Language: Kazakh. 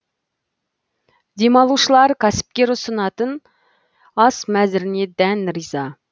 демалушылар кәсіпкер ұсынатын ас мәзіріне дән риза